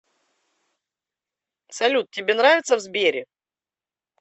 салют тебе нравится в сбере